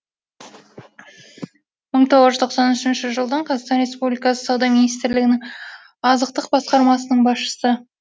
мың тоғыз жүз тоқсан үшінші жылдан қазақстан республикасы сауда министрлігінің азықтық басқармасының басшысы